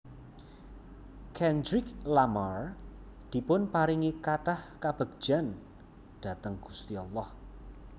Kendrick Lamar dipunparingi kathah kabegjan dhateng gusti Allah